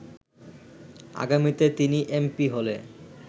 আগামীতে তিনি এমপি হলে